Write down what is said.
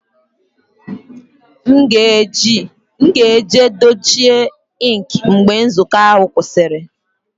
M ga-eji dochie stampụ ink mgbe nzukọ ahụ gwụsịrị